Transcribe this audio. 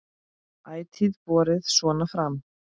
Ætíð borið svona fram.